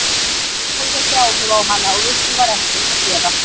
Marta hafði þessi áhrif á hana og við því var ekkert að gera.